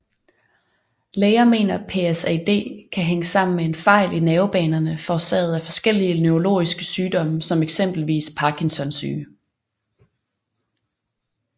Læger mener PSAD kan hænge sammen med fejl i nervebanerne forårsaget af forskellige neurologiske sygdomme som eksempelvis Parkinson Syge